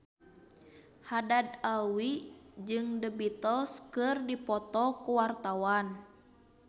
Haddad Alwi jeung The Beatles keur dipoto ku wartawan